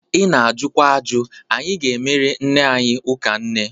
Ị na-ajukwa aju. Anyị ga-emere nne anyị ụka nne.